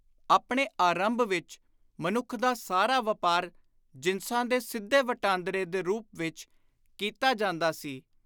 ਆਪਣੇ ਆਰੰਭ ਵਿਚ ਮਨੁੱਖ ਦਾ ਸਾਰਾ ਵਾਪਾਰ ਜਿਨਸਾਂ ਦੇ ਸਿੱਧੇ ਵਟਾਂਦਰੇ ਦੇ ਰੂਪ ਵਿੱਚ ਕੀਤਾ ਜਾਂਦਾ ਸੀ।